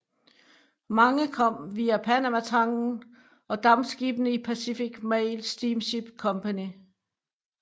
Mange kom via Panamatangen og dampskibene i Pacific Mail Steamship Company